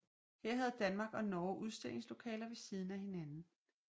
Her havde Danmark og Norge udstillingslokaler ved siden af hinanden